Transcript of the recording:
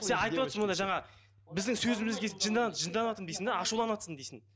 сен айтып отырсың мұнда жаңа біздің сөзімізге жынданады жынданватырмын дейсің ашуланыватырмын дейсің